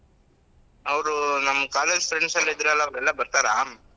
ಅವ್ರು ನಮ್ college friends ಎಲ್ಲ ಇದ್ರೂ ಎಲ್ಲ ಅವರೆಲ್ಲಾ ಬರ್ತಾರಾ?